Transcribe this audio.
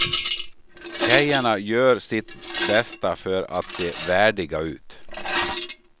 Tjejerna gör sitt bästa för att se värdiga ut.